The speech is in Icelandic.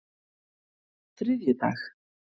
þriðjudag